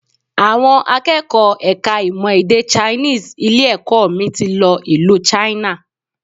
Àwọn akẹ́kọ̀ọ́ ẹ̀ka ìmọ̀ èdè Chinese ilé-ẹ̀kọ́ mi ti lọ ìlú China